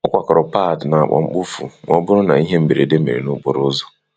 Ọ kwakoro pad na akpa mkpofu ma ọ bụrụ na ihe mberede mere n'ụzọ.